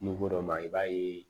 N'i ko dɔ ma i b'a ye